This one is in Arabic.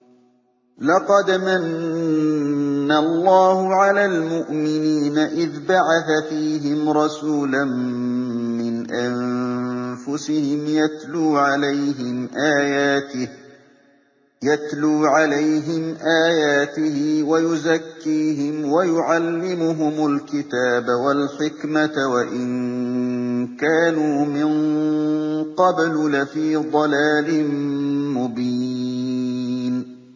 لَقَدْ مَنَّ اللَّهُ عَلَى الْمُؤْمِنِينَ إِذْ بَعَثَ فِيهِمْ رَسُولًا مِّنْ أَنفُسِهِمْ يَتْلُو عَلَيْهِمْ آيَاتِهِ وَيُزَكِّيهِمْ وَيُعَلِّمُهُمُ الْكِتَابَ وَالْحِكْمَةَ وَإِن كَانُوا مِن قَبْلُ لَفِي ضَلَالٍ مُّبِينٍ